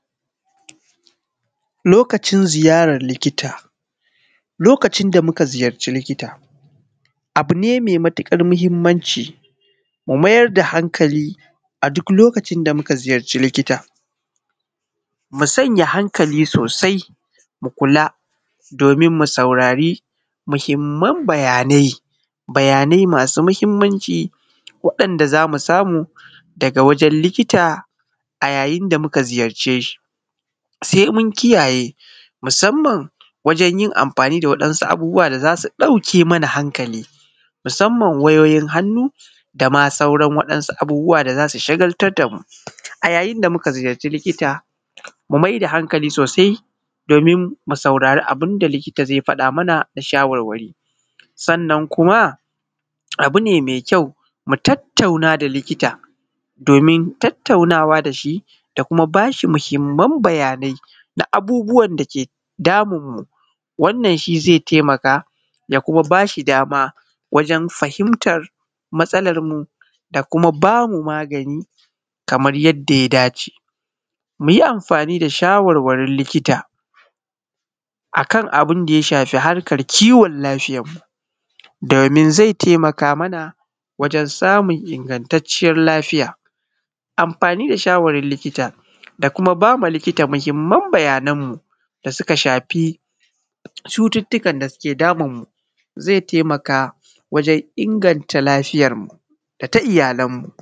Lokacin ziyaran likita, lokacin da muka ziyarci likita abu ne mai matuƙar mahimmanci mu mayar da hankali a duklokacin da muka ziyarci likita mu sanya hankali sosai mu kula domin mu saurari muhimman bayanai bayanai masu mahimmanci waɗanda zamu samu daga wajen likita a yayin da muka ziyarce shi sai mun kiyaye musamman wajen yin amfani da wasu abubuwa da zasu ɗauke mana hankali musamman wayoyin hannu da ma sauran waɗansu abubuwa da zasu shagaltar da mu a yayin da muka ziyarci likita mu mai da hankali sosai domin mu saurari abin da likita zai faɗa mana na shawarwari sannan kuma abu ne mai kyau mu tattauna da likita domin tattaunawa da shi da kuma bashi mahimman bayanai da abubuwan dake damun mu wannan shi zai taimaka ya kuma bashi dama wajen fahimtar matsalar mu da kuma bamu magani kamar yadda ya dace, muyi amfani da shawarwarin likita akan abin da ya shafi harkan kiwon lafiyar mu domin zai taimaka mana wajen samun ingantacciyar lafiya, amfani da shawarin likita da kuma ba likta muhimman bayanan mu da suka shafi cututtukan da suke damun mu zai taimaka wajen inganta lafiyar mu da ta iyalan mu.